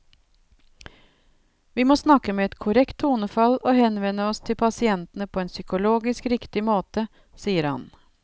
Vi må snakke med et korrekt tonefall og henvende oss til pasienten på en psykologisk riktig måte, sier han.